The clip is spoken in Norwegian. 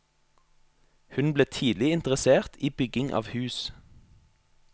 Hun ble tidlig interessert i bygging av hus.